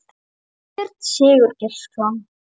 Þorbjörn Sigurgeirsson